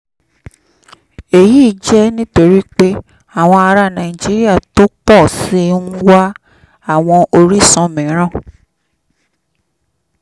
èyí jẹ́ nítorí pé àwọn ará nàìjíríà tó pọ̀ sí i ń wá àwọn orísun mìíràn